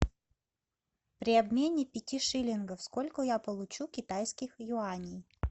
при обмене пяти шиллингов сколько я получу китайских юаней